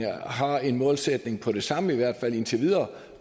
har en målsætning om det samme i hvert fald indtil videre